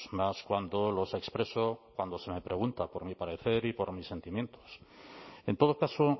más cuando los expreso cuando se me pregunta por mi parecer y por mis sentimientos en todo caso